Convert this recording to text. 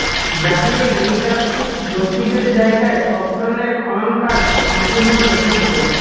ব্রাজিলে নৃতাত্বিক গোষ্ঠীদের জায়গায় সব ধরণের খননকাজ সম্পূর্ণ নিষিদ্ধ